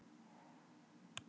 Fyrirgefiði hvað ég kem seint.